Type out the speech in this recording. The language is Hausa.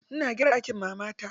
Ina gyara ɗakin mamata.